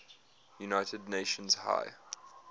united nations high